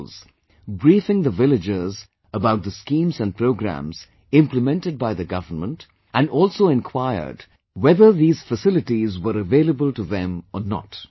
officials briefing the villagers about the schemes and programmes implemented by the Government and also inquired whether these facilities were available to them or not